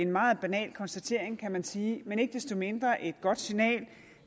meget banal konstatering kan man sige men ikke desto mindre er det et godt signal